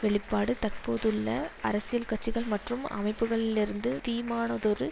வெளிப்பாடு தற்போதுள்ள அரசியல் கட்சிகள் மற்றும் அமைப்புகளிலிருந்து தீமானதொரு